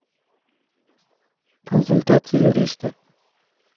консультация юриста